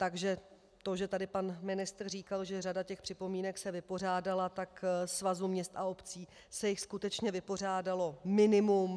Takže to, že tady pan ministr říkal, že řada těch připomínek se vypořádala, tak Svazu měst a obcí se jich skutečně vypořádalo minimum.